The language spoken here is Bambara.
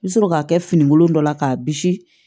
I bɛ sɔrɔ k'a kɛ finikolon dɔ la k'a bisi